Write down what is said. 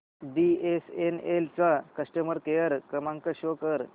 BSNL चा customer care क्रमांक show कर